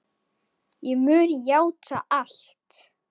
Ég mun játa allt.